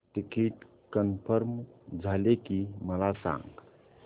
ticket confirm झाले की मला सांग